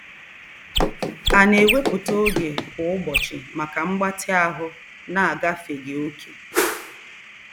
A na-ewepụta oge kwa ụbọchị maka mgbatị ahụ na-agafeghị oke?